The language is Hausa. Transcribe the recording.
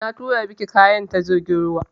Na turo miki kayan ta jirgin ruwa.